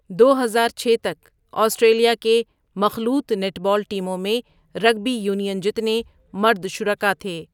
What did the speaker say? دو ہزار چھ تک، آسٹریلیا کے مخلوط نیٹ بال ٹیموں میں رگبی یونین جتنے مرد شرکاء تھے۔